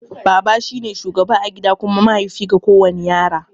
Baba shine shugaba a gida kuma mahaifi ga kowana yaro.